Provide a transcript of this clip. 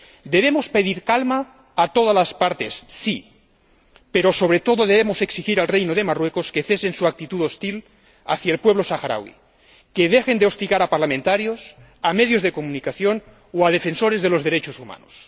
Debemos pedir calma a todas las partes, sí, pero, sobre todo, debemos exigir al Reino de Marruecos que cese en su actitud hostil hacia el pueblo saharaui, que dejen de hostigar a parlamentarios, a medios de comunicación o a defensores de los derechos humanos.